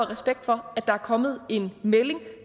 respekt for at der er kommet en melding at